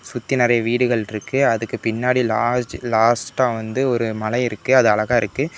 சுத்தி நறைய வீடுகள் இருக்கு அதுக்கு பின்னாடி லார்ஜ் லாஸ்ட்டா வந்து ஒரு மலை இருக்கு அது அழகா இருக்கு.